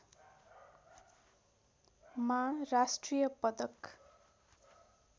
मा राष्ट्रिय पदक